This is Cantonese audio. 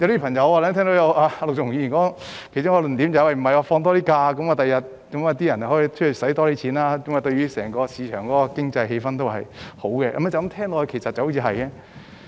我聽到陸頌雄議員提出的其中一個論點是，增加假期會增加消費，對整個市場的經濟氣氛也有好處，這聽來好像是對的。